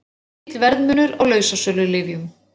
Mikill verðmunur á lausasölulyfjum